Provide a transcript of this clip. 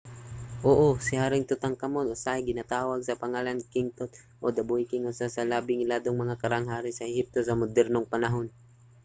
oo! si haring tutankhamun usahay ginatawag sa pangalan nga king tut o the boy king usa sa labing iladong mga karaang hari sa ehipto sa modernong panahon